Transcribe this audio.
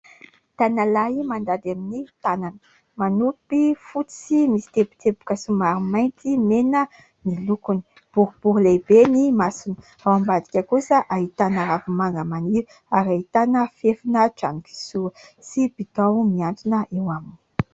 Tanalahy mandady amin'ny tanana. Manopy fotsy sy misy teboteboka somary mainty mena ny lokony, boribory lehibe ny masony. Ao ambadika kosa ahitana ravi-manga maniry ary ahitana fefina trano kisoa sy bidao mihantona eo aminy.